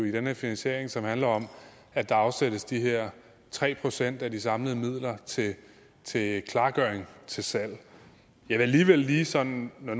i den her finansiering som handler om at der afsættes de her tre procent af de samlede midler til klargøring til salg jeg vil alligevel lige sådan når